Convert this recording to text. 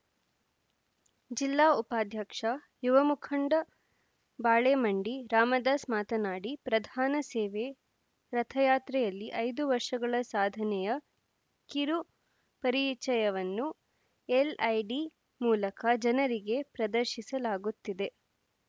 ಜಿಲ್ಲಾ ಉಪಾಧ್ಯಕ್ಷ ಯುವ ಮುಖಂಡ ಬಾಳೆಮಂಡಿ ರಾಮದಾಸ್‌ ಮಾತನಾಡಿ ಪ್ರಧಾನ ಸೇವ ರಥಯಾತ್ರೆಯಲ್ಲಿ ಐದು ವರ್ಷಗಳ ಸಾಧನೆಯ ಕಿರು ಪರಿಚಯವನ್ನು ಎಲ್‌ಐಡಿ ಮೂಲಕ ಜನರಿಗೆ ಪ್ರದರ್ಶಿಸಲಾಗುತ್ತಿದೆ